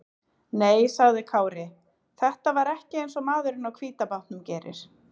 Nei, sagði Kári, þetta var ekki eins og maðurinn á hvíta bátnum gerir.